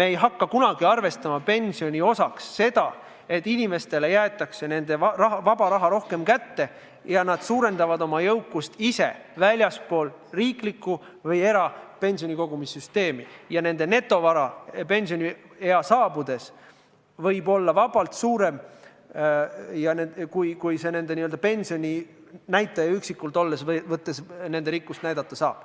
ei hakka me kunagi arvestama pensioni osaks seda, et inimestele jäetakse vaba raha rohkem kätte ja nad suurendavad oma jõukust ise väljaspool riiklikku või erapensionikogumissüsteemi ja nende netovara võib pensioniea saabudes olla vabalt suurem, kui nende n-ö pensioninäitaja üksikult võttes nende rikkust näidata saab.